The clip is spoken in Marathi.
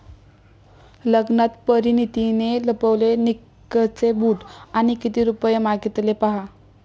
लग्नात परिणितीने लपवले निकचे बूट आणि किती रुपये मागितले पाहा...